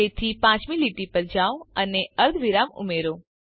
તેથી પાંચમી લીટી પર જાઓ અને અર્ધવિરામ ઉમેરો